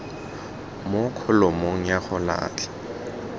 mo kholomong ya go latlha